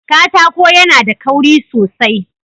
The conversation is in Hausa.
Katako yAna da kauri sosai